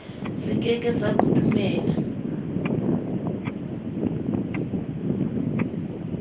se ke ke sa kodumela